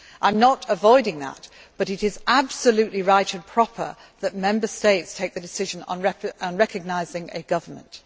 I am not avoiding that, but it is absolutely right and proper that Member States take the decision on recognising a government.